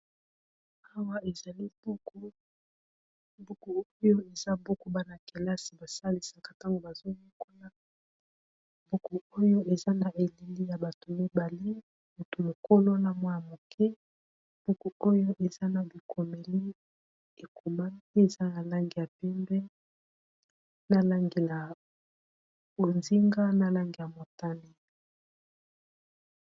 Awa ezali buku, buku oyo eza buku bana kelasi ba salisaka tango bazo yekola buku oyo eza na elili ya bato mibale mutu mokolo na mwa ya moke, buku oyo eza na bi komeli ekomanii eza na langi ya pindwe na langi ya bozinga na lange ya motani.